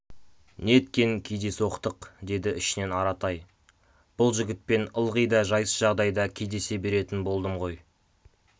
неткен кездейсоқтық деді ішінен аратай бұл жігітпен ылғи да жайсыз жағдайда кездесе беретін болдым ғой